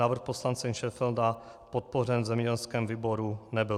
Návrh poslance Šenfelda podpořen v zemědělském výboru nebyl.